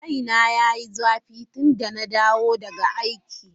Kaina ya yi zafi tun da na dawo daga aiki.